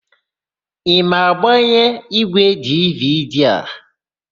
Ị ma agbanye ígwèdividi a?